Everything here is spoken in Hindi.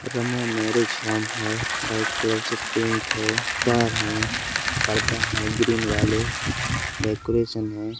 रमा मेरिज होम है वाइट कलर से पेंट है तार हैं पर्दा है ग्रीन वाले डेकोरेशन है।